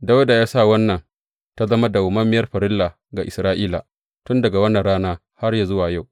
Dawuda ya sa wannan tă zama dawwammamiyar farilla ga Isra’ila tun daga wannan rana har yă zuwa yau.